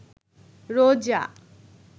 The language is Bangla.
রোজা